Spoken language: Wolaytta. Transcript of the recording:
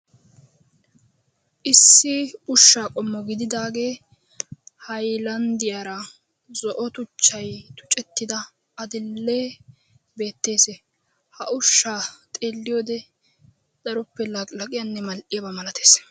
Issi ushshaa qommo gidiidaagee haayilanddiyaara zo'o tuchchaay tuceetidaa adil'e beettes. Ha ushshaa xeelliyoode daroppe laqilaqiyabanne mal'iyaaba malaatees.